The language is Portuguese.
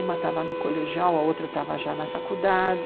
Uma estava no colegial, a outra estava já na faculdade.